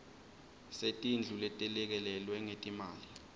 setindlu letelekelelwe ngetimali